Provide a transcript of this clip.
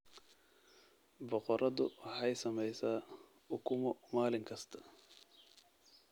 Boqoradu waxay samaysaa ukumo maalin kasta.